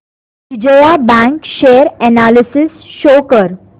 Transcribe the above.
Vijaya bank share analysis show कर